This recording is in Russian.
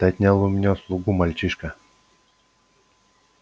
ты отнял у меня слугу мальчишка